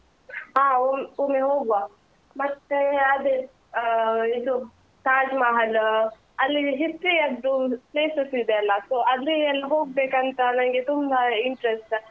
ಹಾ ಒಮ್~ ಒಮ್ಮೆ ಹೋಗುವ, ಮತ್ತೆ ಅದೇ ಆ ಇದು ತಾಜ್‌ ಮಹಲ್‌ ಅಲ್ಲಿ history ಯದ್ದು places ಇದೆ ಅಲ್ಲ, so ಅಲ್ಲಿಯೆಲ್ಲ ಹೋಗ್ಬೇಕಂತ ನನ್ಗೆ ತುಂಬಾ interest .